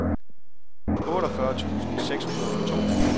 otteogfyrre tusind seks hundrede og to